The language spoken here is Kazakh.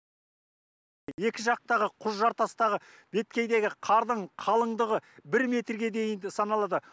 екі жақтағы құз жартастағы беткейдегі қардың қалыңдығы бір метрге дейінгі саналады